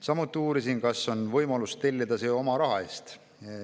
Samuti uurisin, kas on võimalus tellida see oma raha eest.